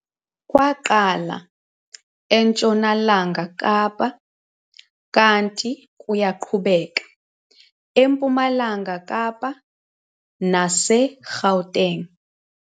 Kwaqala eNtshonalanga Kapa kanti kuyaqhubeka eMpumalanga Kapa nase-Gauteng.